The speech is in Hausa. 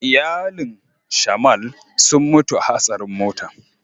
Iyalin "shamal" sun mutu a hasarin mota.